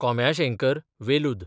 कोंब्याशेंकरें, वेलूद